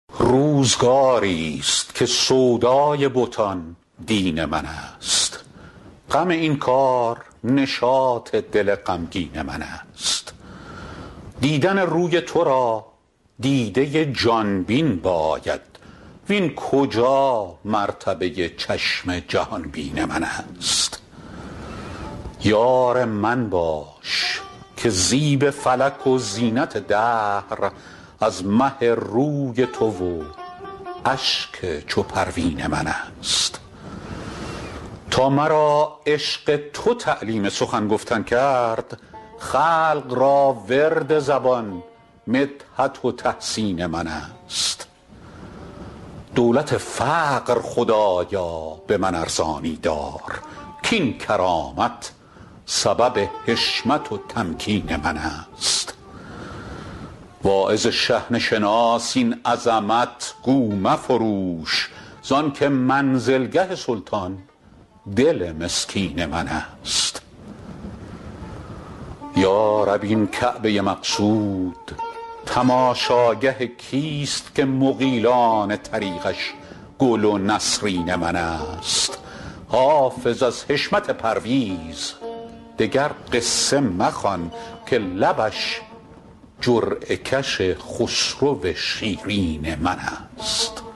روزگاری ست که سودای بتان دین من است غم این کار نشاط دل غمگین من است دیدن روی تو را دیده ی جان بین باید وین کجا مرتبه ی چشم جهان بین من است یار من باش که زیب فلک و زینت دهر از مه روی تو و اشک چو پروین من است تا مرا عشق تو تعلیم سخن گفتن کرد خلق را ورد زبان مدحت و تحسین من است دولت فقر خدایا به من ارزانی دار کاین کرامت سبب حشمت و تمکین من است واعظ شحنه شناس این عظمت گو مفروش زان که منزلگه سلطان دل مسکین من است یا رب این کعبه ی مقصود تماشاگه کیست که مغیلان طریقش گل و نسرین من است حافظ از حشمت پرویز دگر قصه مخوان که لبش جرعه کش خسرو شیرین من است